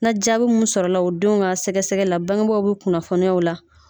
Na jaabi mun sɔrɔla o denw ŋa sɛgɛsɛgɛ la baŋebagaw be kunnafoniya o la.